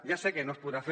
ja sé que no es podrà fer